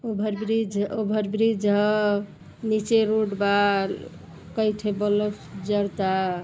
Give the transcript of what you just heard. Over bridge over bridge ह। नीचे road बा। कईठे बलफ़ जरता।